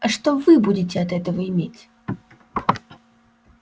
а что вы будете от этого иметь